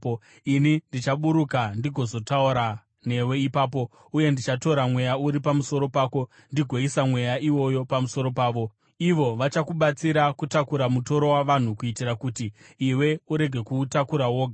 Ini ndichaburuka ndigozotaura newe ipapo, uye ndichatora Mweya uri pamusoro pako ndigoisa Mweya iwoyo pamusoro pavo. Ivo vachakubatsira kutakura mutoro wavanhu kuitira kuti iwe urege kuutakura woga.